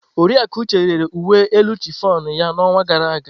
Oriakụ Uche rere uwe elu chiffon ya n'ọnwa gara aga.